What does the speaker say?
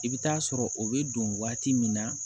I bɛ taa sɔrɔ o bɛ don waati min na